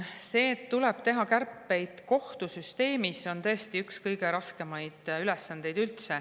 See, et tuleb teha kärpeid kohtusüsteemis, on tõesti üks kõige raskemaid ülesandeid üldse.